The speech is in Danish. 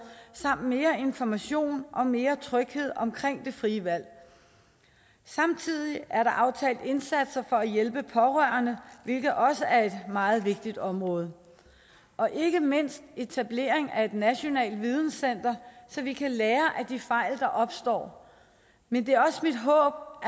samt mere information og mere tryghed omkring det frie valg samtidig er der aftalt indsatser for at hjælpe pårørende hvilket også er et meget vigtigt område og ikke mindst er etableret et nationalt videnscenter så vi kan lære af de fejl der opstår men det er også mit håb